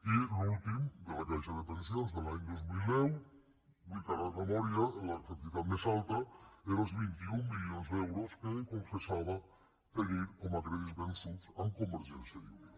i en l’últim de la caixa de pensions de l’any dos mil deu ho dic ara de memòria la quantitat més alta era els vint un milions d’euros que confessava tenir com a crèdits vençuts amb convergència i unió